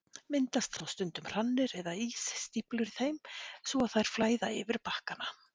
Myndast þá stundum hrannir eða ísstíflur í þeim svo að þær flæða yfir bakkana.